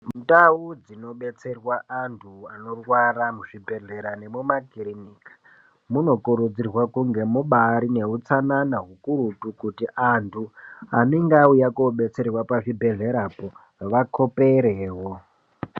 Ndau dzino detserwa antu anorwara mu zvi bhedhlera nemu makirinika muno kurudzirwa kunge mubairi ne utsanana hukurutu kuti antu anenge auya ko detserwa pa zvibhedhlera po vakoperewo.